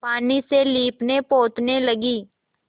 पानी से लीपनेपोतने लगी